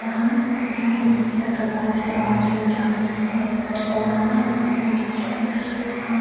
वहाँ खंडर में हर प्रकार के आवाजे निकालते। डरावना आवाजे निकालते । वहां --